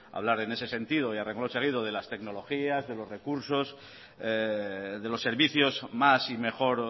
hablar en ese sentido y a renglón seguido de las tecnologías de los recursos de los servicios más y mejor